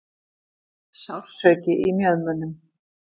Sársauki í mjöðmunum.